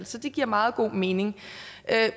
så det giver meget god mening